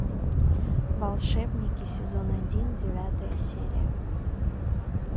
волшебники сезон один девятая серия